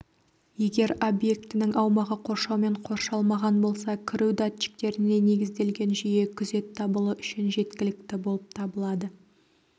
егер объектінің аумағы қоршаумен қоршалмаған болса кіру датчиктеріне негізделген жүйе күзет дабылы үшін жеткілікті болып табылады